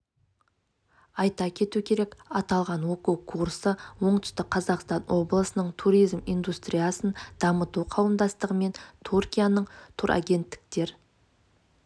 айта кету керек аталған оқу курсы оңтүстік қазақстан облысының туризм индустриясын дамыту қауымдастығы мен түркияның турагенттіктер